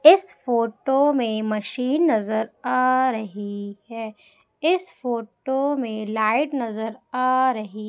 इस फोटो में मशीन नजर आ रही है इस फोटो में लाइट नजर आ रही--